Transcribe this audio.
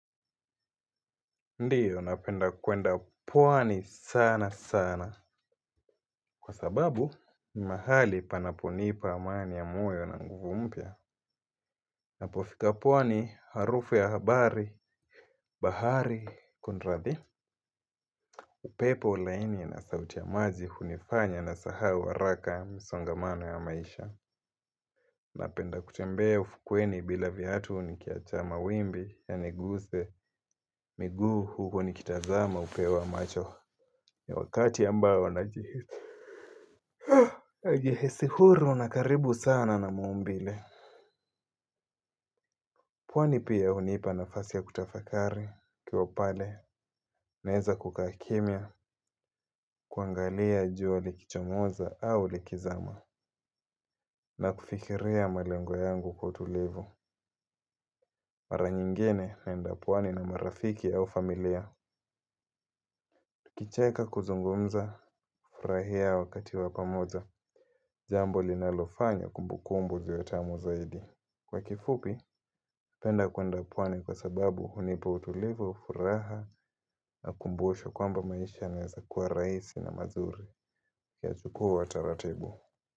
Ndiyo napenda kwenda pwani sana sana. Kwa sababu ni mahali panaponipa amani ya moyo na nguvu mpya. Napofika pwani harufu ya habari bahari kunrathi. Upepo laini na sauti ya maji hunifanya na sahau haraka misongamano ya maisha. Napenda kutembea ufukweni bila viatu nikiacha mawimbi yaniguse miguu huko ni kitazama upeo wa macho. Ni wakati ambao najihisi huru na karibu sana na maumbile. Pwani pia hunipa nafasi ya kutafakari nikiwapale naeza kukaa kimya kuangalia jua likichomoza au likizama. Na kufikiria malengo yangu kwa utulivu mara nyingine naenda pwani na marafiki au familia. Tukicheka kuzungumza furahia wakati wapamoja jambo linalofanya kumbukumbu ziwe tamu zaidi. Kwa kifupi, penda kwenda pwani kwa sababu hunipa utulivu, furaha na kumbusho kwamba maisha yanaezakuwa rahisi na mazuri ya tukuwa taratibu.